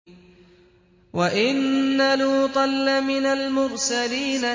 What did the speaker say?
وَإِنَّ لُوطًا لَّمِنَ الْمُرْسَلِينَ